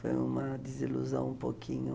Foi uma desilusão um pouquinho.